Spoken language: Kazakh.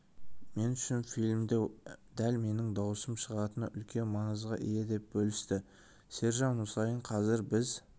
мен үшін фильмде дәл менің дауысым шығатыны үлкен маңызға ие деп бөлісті сержан мұсайын қазір біз